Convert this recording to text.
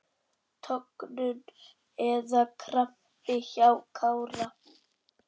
Tognun eða krampi hjá Kára?